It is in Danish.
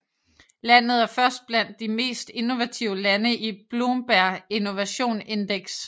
Landet er først blandt de mest innovative lande i Bloomberg Innovation Index